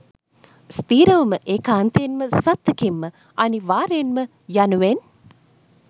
ස්ථීරවම ඒකාන්තයෙන්ම සත්තකින්ම අනිවාර්යයෙන්ම යනුවෙන්